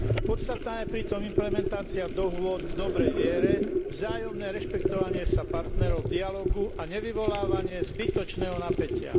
Podstatná je pritom implementácia dohôd v dobrej viere, vzájomné rešpektovanie sa partnerov v dialógu a nevyvolávanie zbytočného napätia.